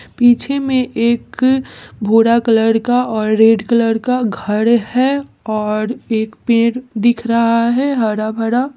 पीछे में एक भूरा कलर का और रेड कलर का घर है और एक पेड़ दिख रहा है हरा-भरा।